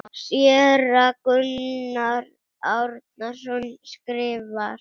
Séra Gunnar Árnason skrifar